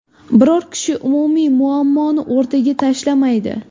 Biror kishi umumiy muammoni o‘rtaga tashlamaydi.